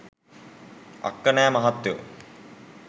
අක්කනෑ මහත්තයෝ